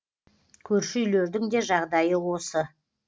көрші үйлердің де жағдайы осы